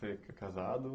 Você é casado?